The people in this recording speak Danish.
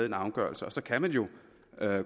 en afgørelse og så kan man jo